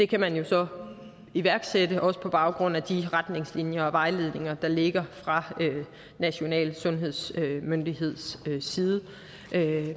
kan man jo så iværksætte også på baggrund af de retningslinjer og vejledninger der ligger fra de nationale sundhedsmyndigheders side